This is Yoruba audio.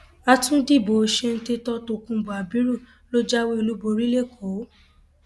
àtúndí ìbò ṣèǹtẹtò tokunbo abiru ló jáwé olúborí lẹkọọ